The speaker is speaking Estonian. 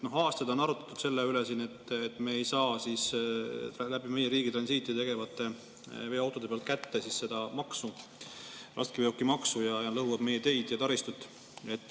Aastaid on siin arutatud selle üle, et me ei saa läbi meie riigi transiiti tegevate veoautode pealt kätte seda maksu, raskeveokimaksu, ja nad lõhuvad meie teid ja taristut.